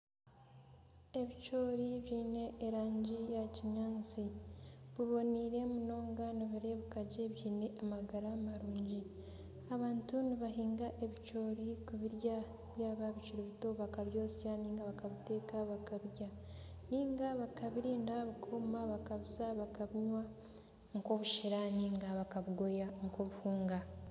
Ebicoori byine erangi yakinyaatsi biboneire munonga nibirebeka gye biine amagara marungi abantu nibahinga ebicoori kubirya byaba bikiri bito bakabyosa nari bakabiteeka bakabirya ninga bakabirinda bikooma bakabusa nk'obushera nari bakabugoya nk'obuhunga